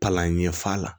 Palan ɲɛf'a la